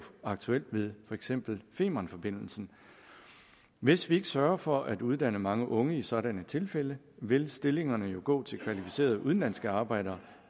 aktuelt ved for eksempel femernforbindelsen hvis vi ikke sørger for at uddanne mange unge i sådanne tilfælde vil stillingerne jo gå til kvalificerede udenlandske arbejdere